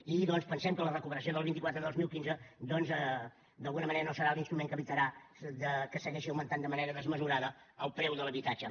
i pensem que la recuperació de la vint quatre dos mil quinze d’alguna manera no serà l’instrument que evitarà que segueixi augmentant de manera desmesurada el preu de l’habitatge